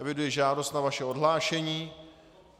Eviduji žádost o vaše odhlášení.